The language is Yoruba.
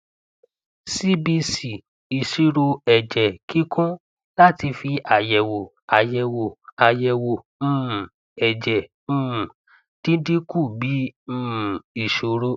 cbc ìṣirò ẹjẹ kíkún láti fi àyẹwò àyẹwò àyẹwò um ẹjẹ um dídín kù bí um ìṣòro